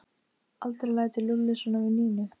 Aldrei lætur Lúlli svona við Nínu!